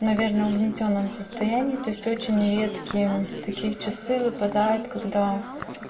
наверное угнетённом состоянии то есть очень редкие такие часы выпадают когда